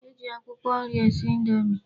E ji akwụkwọ nri esi indomi.